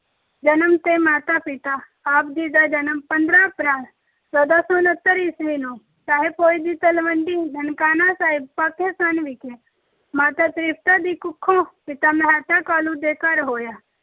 ਜਨਮ ਅਤੇ ਮਾਤਾ ਪਿਤਾ- ਆਪ ਜੀ ਦਾ ਜਨਮ ਪੰਦਰਾਂ ਅਪ੍ਰੈਲ ਚੋਦਾਂ ਸੌ ਉਨੱਤਰ ਈਸਵੀ ਨੂੰ ਰਾਏ ਭੋਏ ਦੀ ਤਲਵੰਡੀ ਨਨਕਾਣਾ ਸਾਹਿਬ ਪਾਕਿਸਤਾਨ ਵਿਖੇ ਮਾਤਾ ਤ੍ਰਿਪਤਾ ਦੀ ਕੁੱਖੋਂ ਪਿਤਾ ਮਹਿਤਾ ਕਾਲੂ ਦੇ ਘਰ ਹੋਇਆ।